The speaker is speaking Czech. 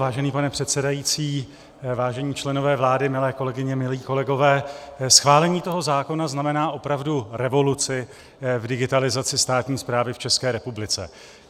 Vážený pane předsedající, vážení členové vlády, milé kolegyně, milí kolegové, schválení toho zákona znamená opravdu revoluci v digitalizaci státní správy v České republice.